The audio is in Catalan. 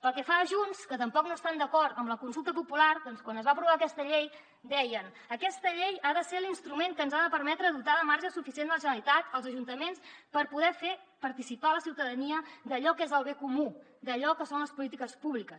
pel que fa a junts que tampoc no estan d’acord amb la consulta popular quan es va aprovar aquesta llei deien aquesta llei ha de ser l’instrument que ens ha de permetre dotar de marge suficient la generalitat els ajuntaments per poder fer participar la ciutadania d’allò que és el bé comú d’allò que són les polítiques públiques